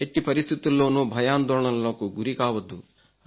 ఎట్టి పరిస్థితుల్లోను భయాందోళనకు గురి కావద్దు